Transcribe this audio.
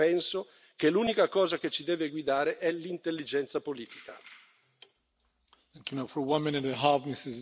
In una situazione come questa, complicata e difficile, penso che l'unica cosa che ci debba guidare sia l'intelligenza politica.